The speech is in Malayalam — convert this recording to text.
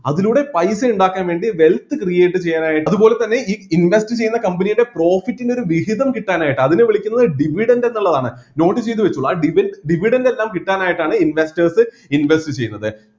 അതിലൂടെ പൈസ ഇണ്ടാക്കാൻ വേണ്ടി wealth create ചെയ്യാനായിട്ട് അതുപോലെതന്നെ ഈ invest ചെയ്യുന്ന company യുടെ profit നൊരു വിഹിതം കിട്ടാനായിട്ട് അതിനെ വിളിക്കുന്നത് dividend എന്നുള്ളതാണ് note ചെയ്‌ത്‌ വെച്ചോ ആ ഡിവി dividend എല്ലാം കിട്ടാനായിട്ട് ആണ് investors invest ചെയ്യുന്നത്